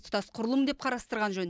тұтас құрылым деп қарастырған жөн